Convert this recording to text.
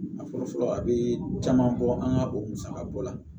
A fɔlɔ fɔlɔ a bɛ caman bɔ an ka o musaka bɔ la